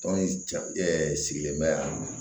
Tɔn in ja ɛ sigilen bɛ yan